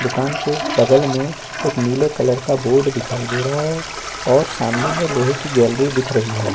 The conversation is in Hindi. दुकान के बगल में एक नीले कलर का बोर्ड दिखाई दे रहा है और सामने मे लोहे की गैलरी दिख रही है।